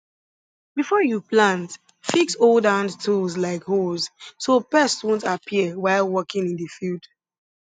before you plant fix old handtools like hoes so pests wont appear while working in the field